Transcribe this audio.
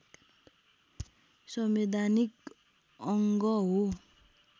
संवैधानिक अङ्ग हो